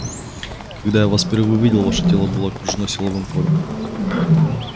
когда я вас впервые увидел ваше тело было окружено силовым полем